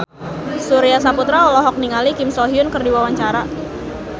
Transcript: Surya Saputra olohok ningali Kim So Hyun keur diwawancara